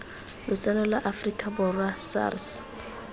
lotseno lwa aforika borwa sars